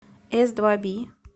эсдваби